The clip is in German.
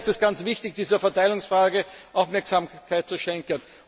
Daher ist es sehr wichtig, dieser Verteilungsfrage Aufmerksamkeit zu schenken.